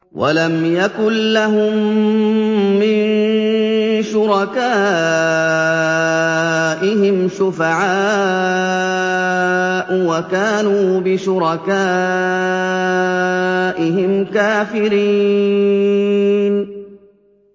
وَلَمْ يَكُن لَّهُم مِّن شُرَكَائِهِمْ شُفَعَاءُ وَكَانُوا بِشُرَكَائِهِمْ كَافِرِينَ